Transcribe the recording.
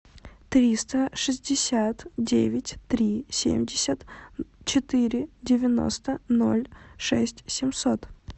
триста шестьдесят девять три семьдесят четыре девяносто ноль шесть семьсот